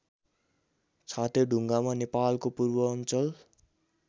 छातेढुङ्गा नेपालको पूर्वाञ्चल